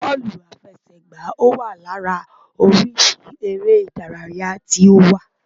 Bóòlù àfẹsẹ̀gbá wa lára oríṣi eré ìdárayá tí ó wà.